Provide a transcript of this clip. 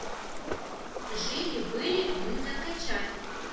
жили были мы закачай